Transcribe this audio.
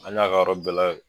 An y'a ka yɔrɔ bɛɛ la